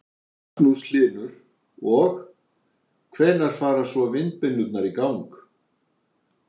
Magnús Hlynur: Og, hvenær fara svo vindmyllurnar í gang?